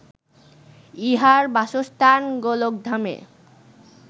ইঁহার বাসস্থান গোলকধামে